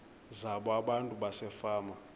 zabo abantu basefama